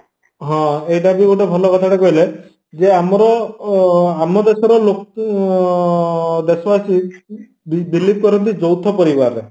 ହଁ ଏଇଟାବି ଗୋଟେ ଭଲ କଥାଟେ କହିଲେ ଜେ ଆମର ଅ ଆମଦେଶରେ ଲୋକ ଅ ଦେଶବାସିବି believe କରନ୍ତି ଯୌଥ ପରିବାରରେ